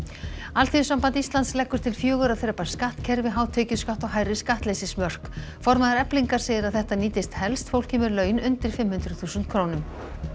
Alþýðusamband Íslands leggur til fjögurra þrepa skattkerfi hátekjuskatt og hærri skattleysismörk formaður Eflingar segir að þetta nýtist helst fólki með laun undir fimm hundruð þúsund krónum